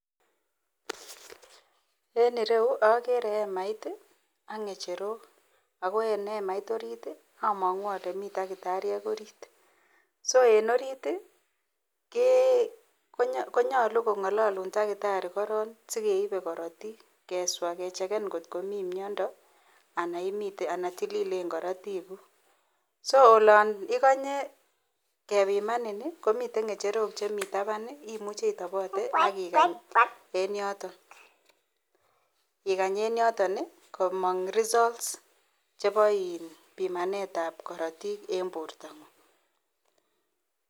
En ireyu agere emait AK ngecherok ako en emait orit amangu Kole miten takitariek orit so en orit konyalu kongalalun takitari koron sigeipe korotik keswa kecheken kokltkomii miando anan tililen korotik guk so olon iganye bkebimaninbkomiten ngecherok Chemiten taban imuche itabate akikany en yoton komang Cs results Cs Cheba bimanet ab korotik en borta ngung